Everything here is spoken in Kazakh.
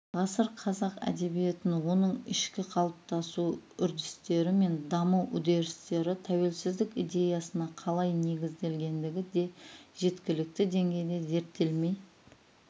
ғасыр қазақ әдебиетін оның ішкі қалыптасу үрдістері мен даму үдерістері тәуелсіздік идеясына қалай негізделгендігі де жеткілікті деңгейде зерттелмей